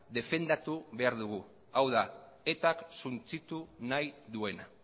defendatu behar dugu hau da etak suntsitu nahi duena